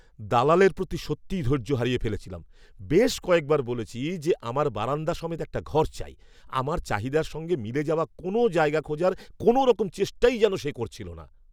দালালের প্রতি সত্যিই ধৈর্য হারিয়ে ফেলেছিলাম। বেশ কয়েকবার বলেছি যে আমার বারান্দা সমেত একটা ঘর চাই। আমার চাহিদার সঙ্গে মিলে যাওয়া কোনও জায়গা খোঁজার কোনওরকম চেষ্টাই যেন সে করছিল না।